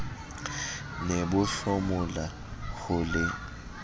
ne bo hlomola ho le